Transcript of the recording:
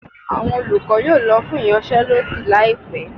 awọn olukọ yóò lọ fún iyansé lodí laípe